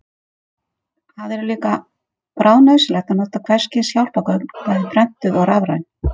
Það er líka bráðnauðsynlegt að nota hvers kyns hjálpargögn, bæði prentuð og rafræn.